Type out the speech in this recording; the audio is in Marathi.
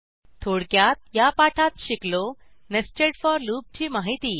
थोडक्यात या पाठात शिकलोNested फोर लूपची माहिती